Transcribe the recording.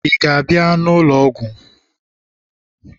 ị ga-abịa ụlọ ọgwụ?